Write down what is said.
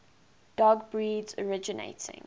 dog breeds originating